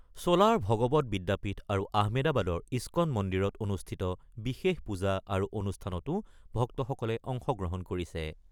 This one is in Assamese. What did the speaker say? চোলাৰ ভগৱত বিদ্যাপীঠ আৰু আহমেদাবাদৰ ইস্কন মন্দিৰত অনুষ্ঠিত বিশেষ পূজা আৰু অনুষ্ঠানতো ভক্তসকলে অংশ গ্ৰহণ কৰিছে।